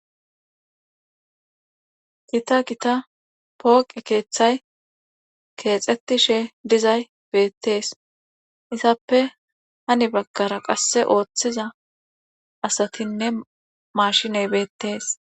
Gita gita pooqe keeththa keexetishe dizay beetes. hessappe heni bagara qasse oothiza asatine mashine beetes.